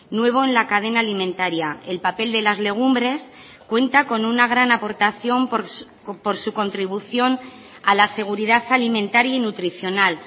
nuevo en la cadena alimentaria el papel de las legumbres cuenta con una gran aportación por su contribución a la seguridad alimentaria y nutricional